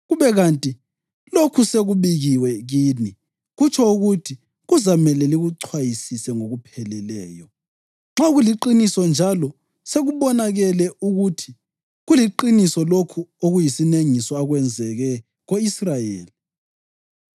kube kanti lokhu sekubikiwe kini, kutsho ukuthi kuzamele likuchwayisise ngokupheleleyo. Nxa kuliqiniso njalo sekubonakele ukuthi kuliqiniso lokhu okuyisinengiso okwenzakele ko-Israyeli,